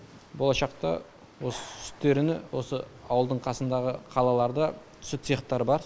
болашақта осы сүттерін осы ауылдың қасындағы қалаларда сүт цехтары бар